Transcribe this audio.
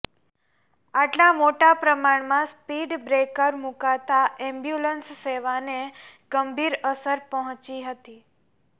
આટલા મોટા પ્રમાણમાં સ્પીડબ્રેકર મુકાતા એમ્બ્યુલન્સ સેવાને ગંભીર અસર પહોંચી હતી